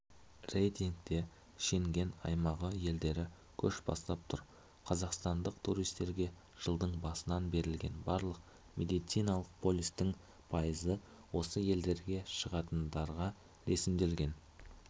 рейтингте шенген аймағы елдері көш бастап тұр қазақстандық туристерге жылдың басынан берілген барлық медициналық полистің пайызы осы елдерге шығатындарға ресімделген